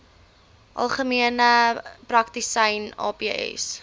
algemene praktisyns aps